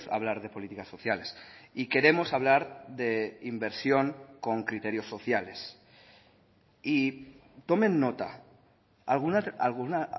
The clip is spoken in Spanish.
hablar de políticas sociales y queremos hablar de inversión con criterios sociales y tomen nota a alguna